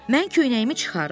Mən köynəyimi çıxarım.